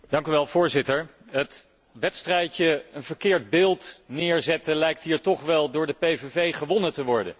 Voorzitter, het wedstrijdje 'een verkeerd beeld neerzetten' lijkt hier toch wel door de PVV gewonnen te worden.